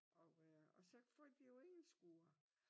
Og øh og så får de jo ingen skure